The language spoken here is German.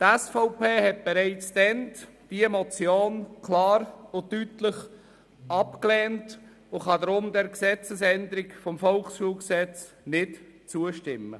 Die SVP hat diese Motion bereits damals klar und deutlich abgelehnt und kann daher der Gesetzesänderung des VSG nicht zustimmen.